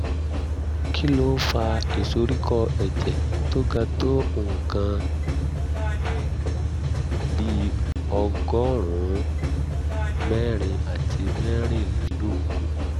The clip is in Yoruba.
kí ló ń fa ìsoríkọ́ ẹ̀jẹ̀ tó ga tó nǹkan bí ọgọ́rùn-ún mẹ́rin àti mẹ́rìnlélógún?